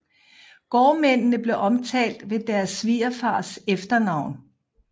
Gårdmændene blev omtalt ved deres svigerfars efternavn